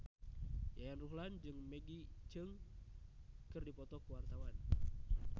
Yayan Ruhlan jeung Maggie Cheung keur dipoto ku wartawan